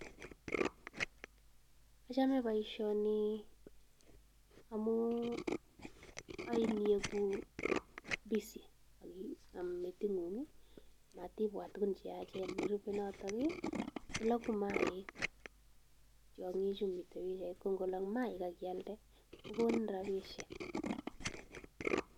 Achome boishoni amu oin iegu busy[sc] aki meting'ung, matibwat tuguk cheyachen. nerubei notok i kologu mayaik tiong'uchuto mi yu ko nkolok mayaik akialde kokonin rapiishek.